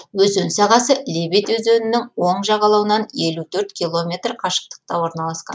өзен сағасы лебедь өзенінің оң жағалауынан елу төрт километр қашықтықта орналасқан